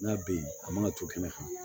N'a bɛ yen a mana ton kɛnɛ kan